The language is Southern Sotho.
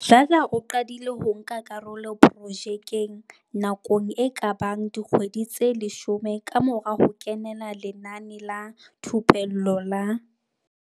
Dladla o qadile ho nka karolo projekeng nako e ka bang dikgwedi tse 10 kamora ho kenela lenaneo la thupello la.